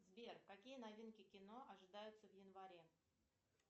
сбер какие новинки кино ожидаются в январе